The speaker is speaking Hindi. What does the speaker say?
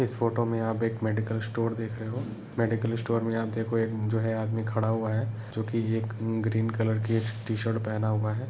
इस फोटो मे आप एक मेडिकल स्टोर देख रहे हो। मेडिकल स्टोर मे आप देखो एक आदमी खड़ा हुआ है जोकि एक ग्रीन कलर की टी शर्ट पहना हुआ है।